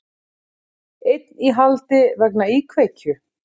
Einn í haldi vegna íkveikju